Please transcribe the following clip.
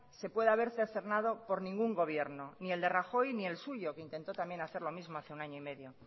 se pueda ver cercenado por ningún gobierno ni el de rajoy ni el suyo que intentó también hacer lo mismo hace un año y medio